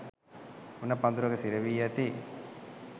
උණ පඳුරක සිරවී ඇති